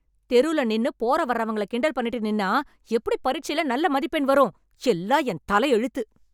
தெருல நின்னு போற வர்றவங்கள கிண்டல் பண்ணிட்டு நின்னா எப்படி பரீட்சைல நல்ல மதிப்பெண் வரும்? எல்லாம் என் தலையெழுத்து.